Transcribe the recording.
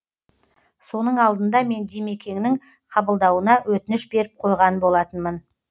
соның алдында мен димекеңнің қабылдауына өтініш беріп қойған болатынмын